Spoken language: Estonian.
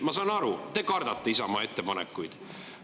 Ma saan aru, te kardate Isamaa ettepanekuid.